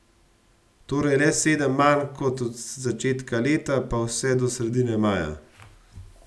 Torej le sedem manj kot od začetka leta pa vse do sredine maja.